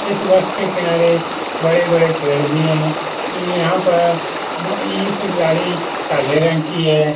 इस बस के किनारे बड़े-बड़े पेड़ भी हैं ई यहाँ पर गाड़ी काले रंग की है।